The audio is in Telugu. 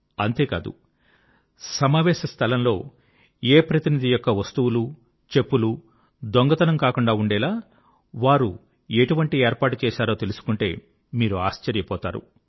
ఇంతే కాదు సమావేశ స్థలంలో ఏ యొక్క ప్రతినిధి యొక్క వస్తువులు చెప్పులు దొంగతనం కాకుండా ఉండేలా వారేం ఏర్పాటు చేశారో తెలుసుకుంటే మీరు ఆశ్చర్య పోతారు